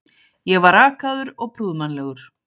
Ég var rakaður og prúðmannlegur.